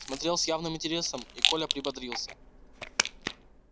смотрел с явным интересом и коля приободрился